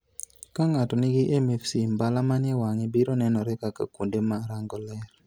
Ka ng'ato nigi MFC, mbala manie wang'e biro nenore kaka kuonde ma rango ler.